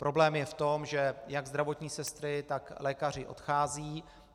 Problém je v tom, že jak zdravotní sestry, tak lékaři odcházejí.